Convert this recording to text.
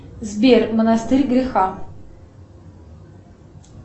сбер монастырь греха